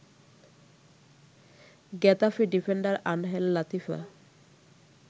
Getafe defender Angel Latifa